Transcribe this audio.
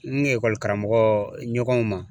N ekɔli karamɔgɔ ɲɔgɔn ma